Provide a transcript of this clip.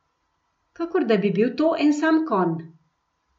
Kakor da bi bil to en sam konj.